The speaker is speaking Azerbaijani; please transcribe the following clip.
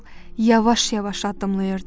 O yavaş-yavaş addımlayırdı.